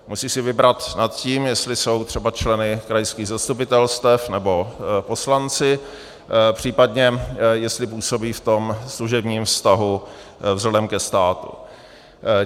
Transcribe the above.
Musí si vybrat nad tím, jestli jsou třeba členy krajských zastupitelstev nebo poslanci, případně jestli působí v tom služebním vztahu vzhledem ke státu.